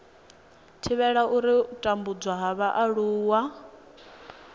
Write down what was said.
thivhela u tambudzwa ha vhaaluwa